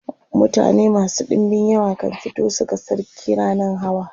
mutane masu ɗinbin yawa kan fito su ga sarki rannan hawa